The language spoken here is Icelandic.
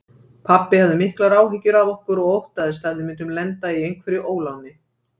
Pabbi hafði miklar áhyggjur af okkur og óttaðist að við myndum lenda í einhverju óláni.